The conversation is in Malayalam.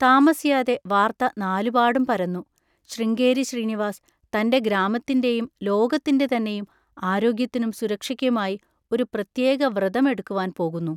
താമസിയാതെ വാർത്ത നാലുപാടും പരന്നു. ശൃംഗേരി ശ്രീനിവാസ് തൻ്റെ ഗ്രാമത്തിൻ്റെയും ലോകത്തിൻ്റെതന്നെയും ആരോഗ്യത്തിനും സുരക്ഷയ്ക്കുമായി ഒരു പ്രത്യേകവ്രതം എടുക്കുവാൻ പോകുന്നു!